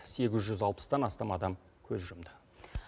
сегіз жүз алпыстан астам адам көз жұмды